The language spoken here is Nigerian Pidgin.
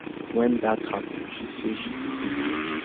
wen dat happen she say she go dey dia